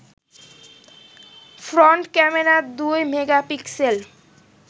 front camera দুই megapixel